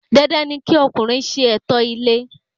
Dandan ni kí ọkùnrin ṣe ẹ̀tọ́ ilé re